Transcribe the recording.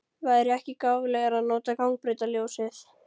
Væri ekki gáfulegra að nota gangbrautarljósið?